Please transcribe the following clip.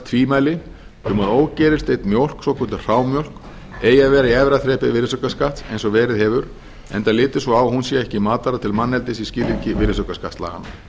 tvímæli um að ógerilsneydd mjólk svokölluð hrámjólk eigi að vera í efra þrepi virðisaukaskatts eins og verið hefur enda litið svo á að hún sé ekki matvara til manneldis í skilningi virðisaukaskattslaganna